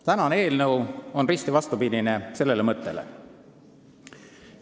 Tänase eelnõu eesmärk on risti vastupidine sellele mõttele.